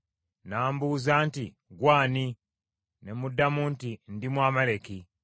“N’ambuuza nti, ‘Ggwe ani?’ “Ne muddamu nti, ‘Ndi Mwamaleki.’